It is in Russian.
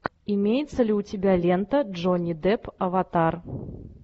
имеется ли у тебя лента джонни депп аватар